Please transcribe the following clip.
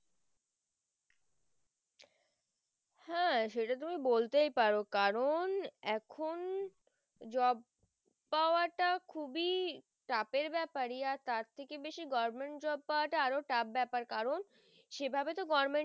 হ্যাঁ সেটা তুমি বলতেই পারো কারণ এখুন job পাওয়াটা খুবই চাপের বেপার তার থেকে বেশি government job পাওয়া তা আরও tough বেপার কারণ সেভাবে তো government